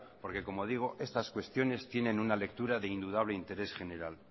porque como digo estas cuestiones tienen una lectura de indudable interés general